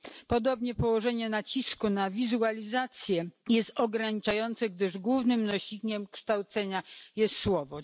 Podobnie położenie nacisku na wizualizację jest ograniczające, gdyż głównym nośnikiem kształcenia jest słowo.